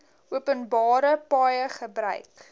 openbare paaie gebruik